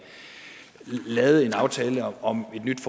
lavede aftale om et nyt